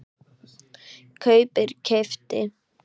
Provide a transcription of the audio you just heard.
kaupir- keypti